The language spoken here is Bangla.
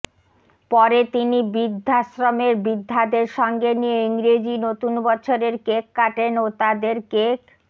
পরে তিনি বৃদ্ধাশ্রমের বৃদ্ধাদের সঙ্গে নিয়ে ইংরেজি নতুন বছরের কেক কাটেন ও তাদের কেক